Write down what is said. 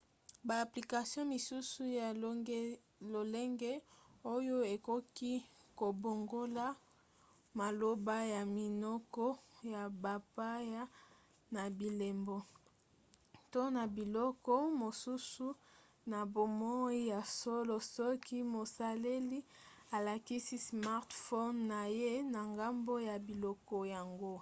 ba application misusu ya lolenge oyo ekoki kobongola maloba ya minoko ya bapaya na bilembo to na biloko mosusu na bomoi ya solo soki mosaleli alakisi smartphone na ye na ngambo ya biloko yango